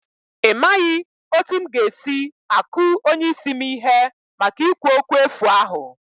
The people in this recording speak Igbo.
Imaghị otú m ga-esi aku onye isi m ihe maka ikwu okwu efu ahụ